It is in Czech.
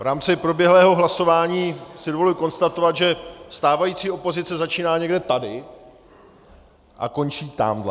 V rámci proběhlého hlasování si dovoluji konstatovat, že stávající opozice začíná někde tady a končí tamhle .